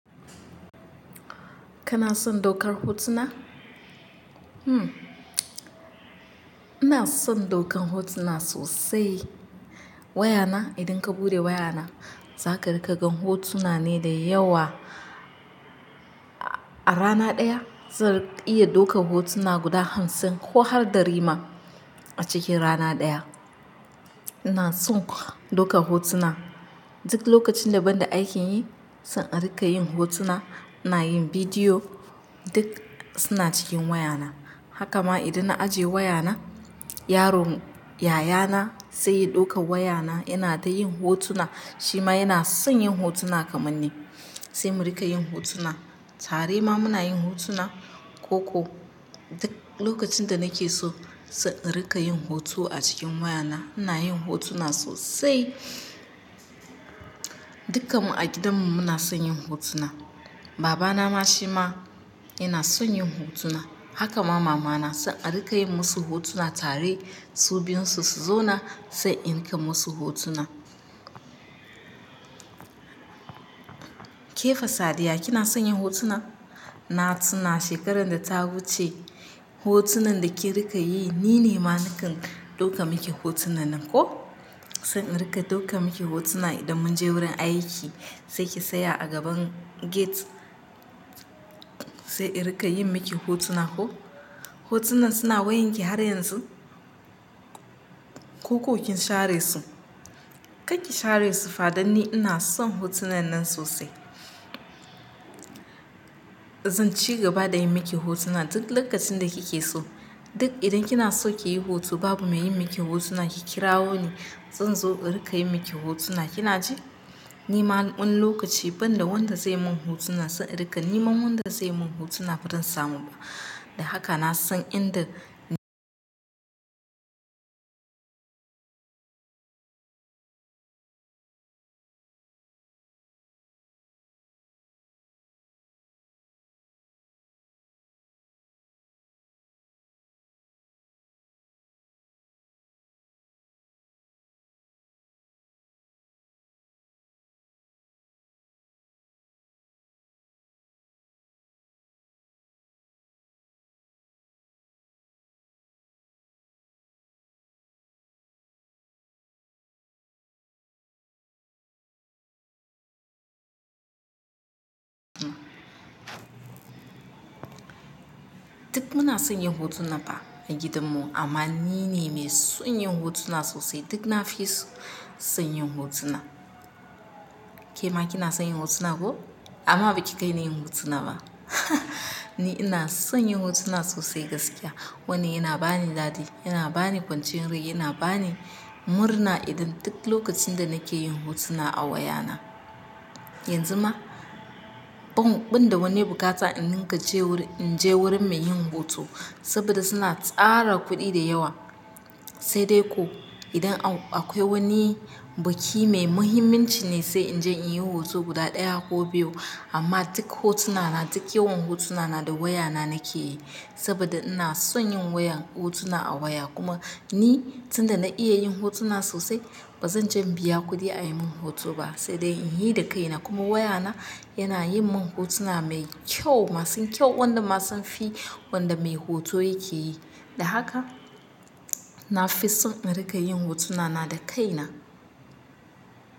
Kana son daukar hotuna? Uhmm, ina son daukar hotuna sosai. Wayana, idan ka buɗe wayana, za ka rika gan hotuna ne da yawa. A rana ɗaya zan iya daukar hotuna guda hamsin ko har ɗari ma a cikin rana ɗaya. Ina son daukar hotuna. Duk lokacin da ban da aikin yi, zan rika yin hotuna. Ina yin bidiyo, duk suna cikin wayana. Haka ma idan na ajiye wayana, yaron yayana sai ya ɗauka wayana yana ta yin hotuna. Shi ma yana son yin hotuna kamar ni. Sai mu rika yin hotuna. Tare ma muna yin hotuna ko ko duk lokacin danauke so, zan rika yin hoto a cikin wayana. Ina yin hotuna sosai. Dukan mu a gidanmu muna son yin hotuna. Babana ma shi ma yana son yin hotuna. Haka ma mamana san arika yin musu hotuna tare. Su bin su su zo na, sai in kai musu hotuna. Kefa Sadiya kina son yin hotuna? Na tuna shekarar da ta wuce, hotunan da kin rika yi ni ne ma nakan dauka miki hotunan nan ko? Zan rika dauka miki hotuna idan mun je wurin aiki, sai ki saya a gaban gate. Sai in rika yin miki hotuna ko? Hotunan suna wayanki har yanzu? Ko kin share su? Karki share su fa danni ina son hotunan nan sosai. Zan ci gaba da yin miki hotuna duk lokacin da kike so. Duk idan kina so kiyi hoto babu mai yin miki hotuna, ki kirawo ni. Zan zo in rika yi maki hotuna. Kina ji? Ni ma wani lokaci ban da wanda zai mun hotuna, zsai in rika neman wanda zai mun hotuna ba zan samu ba. Da haka na san in da Duk mu na son yin hotuna fa a gidanmu amma ni ne mai son yin hotuna sosai. Duk na fi so yin hotuna. Kema kina son yin hotuna ko? Amma baki kai na yin hotuna ba. Ni ina son yin hotuna sosai gaskiya. Wannan yana bani dadi, yana bani kwanciyar rai, yana bani murna idan duk lokacin da nake yin hotuna a wayana. Yanzu ma, ban ban da wani buƙata in ninka je wurin, in je wurin mai yin hoto saboda suna tsara kuɗi da yawa. Sai dai ko idan akwai wani biki mai muhimmanci ne, sai in je in yi hoto guda ɗaya ko biyu. Amma duk hotunana, duk yawan hotunana da wayana nake yi. Saboda ina son yin wayan, hotuna a waya. Kuma ni tun da na iya yin hotuna sosai, ba zan je biya kuɗi a yi mun hoto ba. Sai dai in yi da kaina kuma wayana yana yin mun hotuna mai kyau masu kyau wanda ma sun fi wanda mai hoto ya ke yi. Da haka na fi son in rika yin hotunana da kaina.